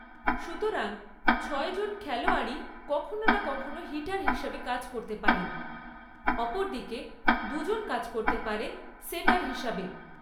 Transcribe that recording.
সুতরাং, ছয়জন খেলোয়াড়ই কখনও না কখনও হিটার হিসাবে কাজ করতে পারেন, অপরদিকে দুজন কাজ করতে পারেন সেটার হিসাবে।